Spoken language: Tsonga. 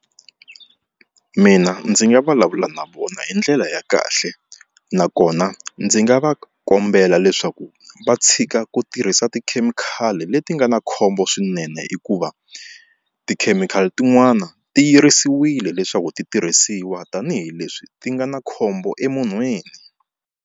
Mina ndzi nga vulavula na vona hi ndlela ya kahle nakona ndzi nga va kombela leswaku va tshika ku tirhisa tikhemikhali leti nga na khombo swinene hikuva tikhemikhali tin'wani ti yirisiwile leswaku ti tirhisiwa tanihileswi ti nga na khombo emunhwini.